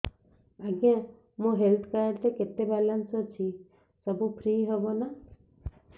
ଆଜ୍ଞା ମୋ health card ରେ କେତେ ବାଲାନ୍ସ ଅଛି ସବୁ ଫ୍ରି ହବ ନାଁ